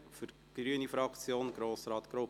Für die grüne Fraktion: Grossrat Grupp.